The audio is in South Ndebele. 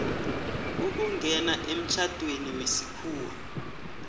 ukungena emtjhadweni wesikhuwa